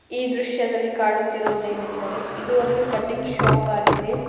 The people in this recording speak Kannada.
ದೃಶ್ಯದಲ್ಲಿ ಕಾಣುತ್ತಿರುವುದೇನೆಂದರೆ ಇದು ಒಂದು ಕಟ್ಟಿಂಗ್ ಶಾಪ್ ಆಗಿದೆ.